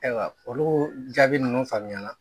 Ayiwa olu jaabi ninnu faamuyana